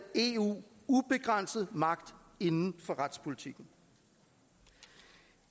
eu ubegrænset magt inden for retspolitikken